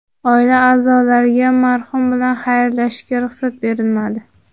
Oila a’zolariga marhum bilan xayrlashishga ruxsat berilmadi.